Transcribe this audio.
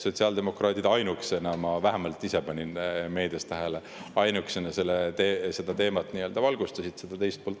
Sotsiaaldemokraadid ainukesena – ma vähemalt ise panin meedias tähele – selle teema teist poolt valgustasid.